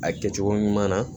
A kɛcogo ɲuman na